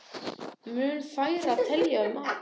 Mun færri telja fram arð